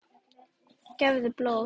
Gefðu blóð.